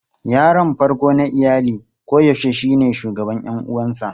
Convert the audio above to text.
Yaron farko na iyali koyaushe shine shugaban ƴan uwansa.